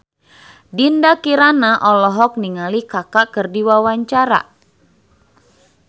Dinda Kirana olohok ningali Kaka keur diwawancara